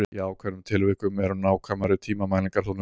Í ákveðnum tilvikum eru nákvæmari tímamælingar þó nauðsynlegar.